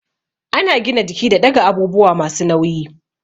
Ana gina jiki da ɗaga abubuwa masu nauyi